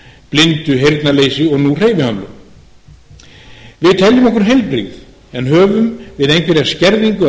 blindu heyrnarleysi og nú hreyfihömlun við teljum okkur heilbrigð en höfum við einhverja skerðingu að